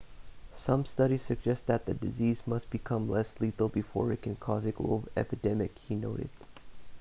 some studies suggest that the disease must become less lethal before it can cause a global epidemic he noted